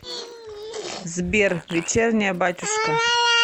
сбер вечерняя батюшка